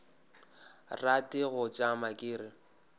rate go tšama ke re